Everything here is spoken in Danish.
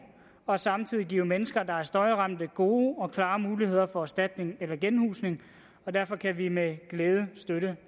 og samtidig give mennesker der er støjramte gode og klare muligheder for erstatning eller genhusning og derfor kan vi med glæde støtte